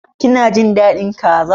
Ki na jin dadin kaza?